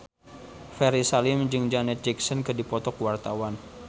Ferry Salim jeung Janet Jackson keur dipoto ku wartawan